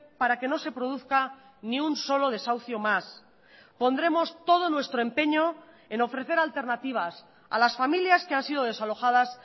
para que no se produzca ni un solo desahucio más pondremos todo nuestro empeño en ofrecer alternativas a las familias que han sido desalojadas